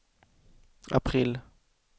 april